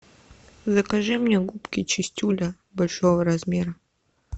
закажи мне губки чистюля большого размера